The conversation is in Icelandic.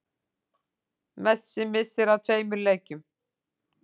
Messi missir af tveimur leikjum